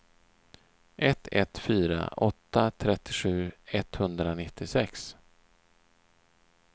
ett ett fyra åtta trettiosju etthundranittiosex